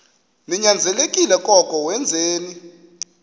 ninyanzelekile koko wenzeni